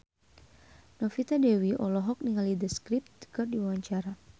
Novita Dewi olohok ningali The Script keur diwawancara